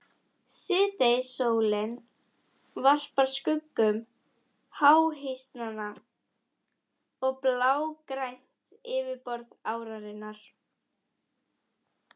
Síðdegissólin varpar skuggum háhýsanna á blágrænt yfirborð árinnar.